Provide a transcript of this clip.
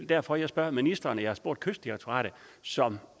derfor jeg spørger ministeren og jeg har spurgt kystdirektoratet som